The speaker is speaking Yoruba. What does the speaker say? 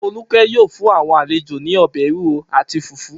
Folúkẹ́ yóò fún àwọn àlejò ní ọbẹ̀ ewúro àti fùfú.